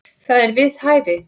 Það er við hæfi.